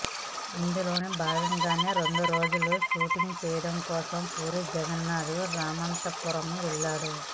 ఇందులోని భాగంగానే రెండు రోజుల షూటింగ్ చేయడం కోసం పూరి జగన్నాథ్ రామంతపూర్ వెళ్ళాడు